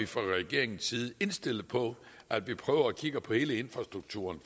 fra regeringens side indstillet på at prøve at kigge på hele infrastrukturen